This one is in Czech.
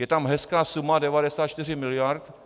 Je tam hezká suma 94 miliard.